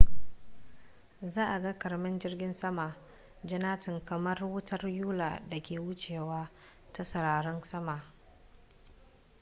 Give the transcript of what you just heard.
za a ga ƙaramin jirgin sama-jannatin kamar wutar yula da ke wucewa ta sararin sama